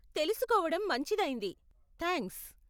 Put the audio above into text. తెలుసుకోవడం మంచిదైంది, థాంక్స్.